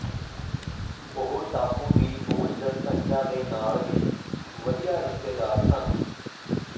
ਉਹ ਟਾਪੂ ਦੀ ਮੂਲ ਜਨਸੰਖਿਆ ਦੇ ਨਾਲ ਵੀ ਵਧੀਆ ਰਿਸ਼ਤੇਦਾਰ ਸਨ